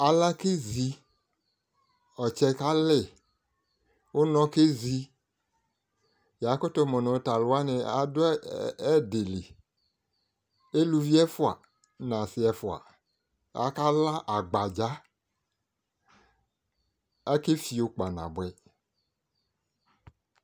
Ala Kezai, ɔtsɛ kalɩ, ʋnɔ kezi Yakʋtʋ mʋ nʋ t'alʋwanɩadʋ ɛdɩ li Eluvi ɛfua n'asɩ ɛfua, akla agbadza, akefio kpanabʋɛ